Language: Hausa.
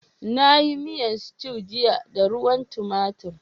Na yi miyan stew jiya da ruwan tomatir.